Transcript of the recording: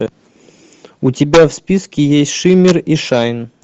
у тебя в списке есть шиммер и шайн